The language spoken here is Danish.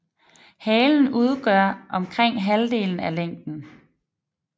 Halen udgør omkring halvdelen af længden